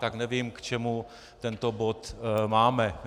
Tak nevím, k čemu tento bod máme.